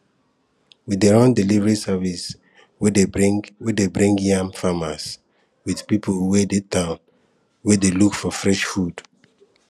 we dey run delivery service wey dey bring wey dey bring yam farmers with people wey dey town wey dey look for fresh food